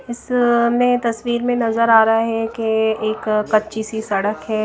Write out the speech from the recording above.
इसमें तस्वीर में नजर आ रहा है के एक कच्ची सी सड़क है।